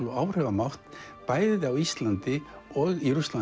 og áhrifamátt bæði á Íslandi og í Rússlandi